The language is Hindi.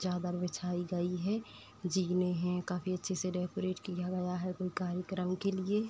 चादर बिछाई गई है। जीने हैं। काफी अच्छे से डेकोरेट किया गया है कोई कार्यक्रम के लिए।